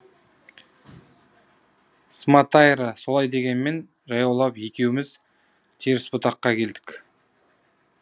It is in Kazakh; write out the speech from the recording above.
сматайра солай дегенмен жаяулап екеуміз терісбұтаққа келдік